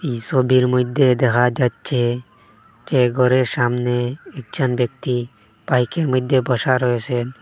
এই সবির মইদ্যে দেখা যাচ্ছে যে গরের সামনে একজন ব্যক্তি বাইকের মইদ্যে বসা রয়েসেন ।